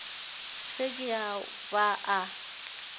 se ke a ba a